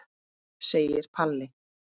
segir Palli.